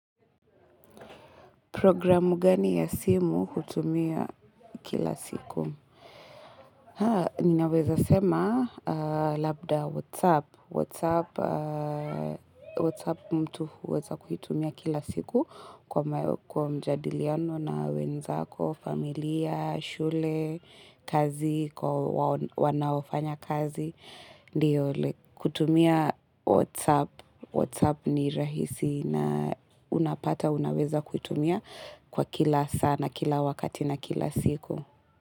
Programu gani ya simu hutumia kila siku? Ninaweza sema labda WhatsApp. WhatsApp mtu uweza kuhitumia kila siku kwa mjadiliano na wenzako, familia, shule, kazi, wanaofanya kazi. Kutumia WhatsApp ni rahisi na unapata unaweza kutumia kwa kila sana, kila wakati na kila siku.